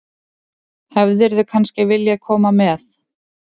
Hefðirðu kannski viljað koma með?